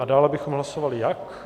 A dále bychom hlasovali jak?